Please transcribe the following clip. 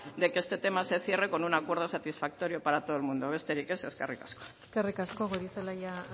de que este tema se cierre con un acuerdo satisfactorio para todo el mundo besterik ez eskerrik asko eskerrik asko goirizelaia